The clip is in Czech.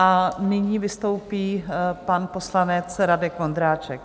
A nyní vystoupí pan poslanec Radek Vondráček.